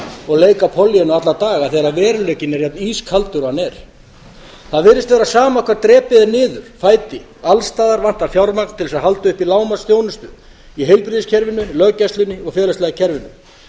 og leika pollýönnu alla daga þegar veruleikinn er jafn ískaldur og hann er það virðist vera sama hvar drepið er niður fæti alls staðar vantar fjármagn til þess að halda uppi lágmarksþjónustu í heilbrigðiskerfinu í löggæslunni og félagslega kerfinu